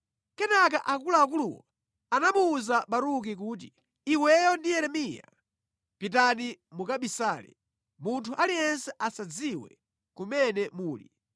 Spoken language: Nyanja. Kenaka akuluakuluwo anamuwuza Baruki kuti, “Iweyo ndi Yeremiya, pitani mukabisale. Munthu aliyense asadziwe kumene muli.”